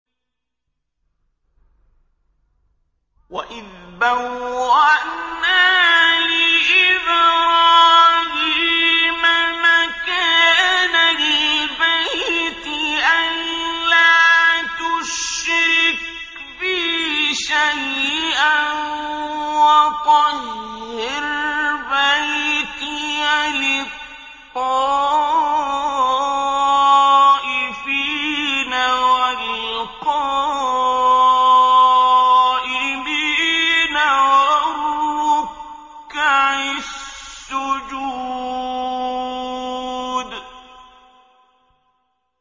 وَإِذْ بَوَّأْنَا لِإِبْرَاهِيمَ مَكَانَ الْبَيْتِ أَن لَّا تُشْرِكْ بِي شَيْئًا وَطَهِّرْ بَيْتِيَ لِلطَّائِفِينَ وَالْقَائِمِينَ وَالرُّكَّعِ السُّجُودِ